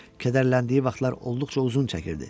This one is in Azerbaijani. Kədərləndiyi vaxtlar olduqca uzun çəkirdi.